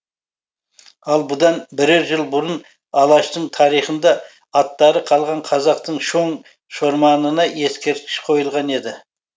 ал бұдан бірер жыл бұрын алаштың тарихында аттары қалған қазақтың шоң шорманына ескерткіш қойылған еді